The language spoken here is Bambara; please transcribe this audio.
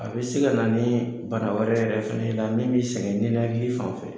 A be se ka na ni bana wɛrɛ yɛrɛ fɛnɛ ye i la min bi sɛgɛn ninnakili fan fɛ